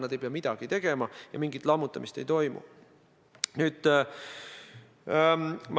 Nad ei pea midagi tegema ja mingit lammutamist ei toimu.